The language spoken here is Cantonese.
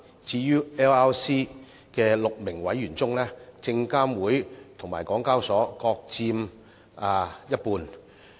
至於 LRC 的6名委員中，證監會及港交所各佔一半。